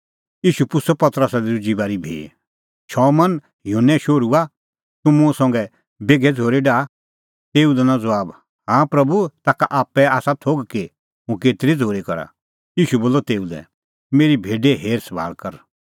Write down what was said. ईशू पुछ़अ पतरसा लै दुजी बारी भी शमौन युहन्ने शोहरूआ तूह मुंह संघै बेघै झ़ूरी डाहा तेऊ दैनअ ज़बाब हाँ प्रभू ताखा ता आप्पै आसा थोघ कि हुंह केतरी झ़ूरी करा ईशू बोलअ तेऊ लै मेरी भेडे हेरसभाल़ कर